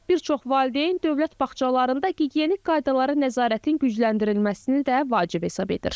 Bir çox valideyn dövlət bağçalarında gigiyenik qaydalara nəzarətin gücləndirilməsini də vacib hesab edir.